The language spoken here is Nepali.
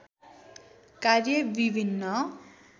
कार्य विभिन्न